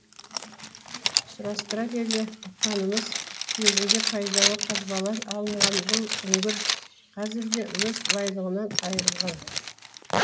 сұрастыра келе ұққанымыз кезінде пайдалы қазбалар алынған бұл үңгір қазірде өз байлығынан айырылған